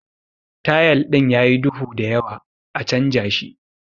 Tayal din yayi duhu da yawa, a chanja shi.